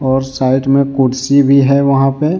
और साइड में कुर्सी भी है वहा पे--